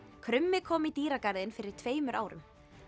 krummi kom í dýragarðinn fyrir tveimur árum